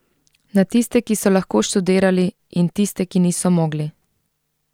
Na tiste, ki so lahko študirali, in tiste, ki niso mogli.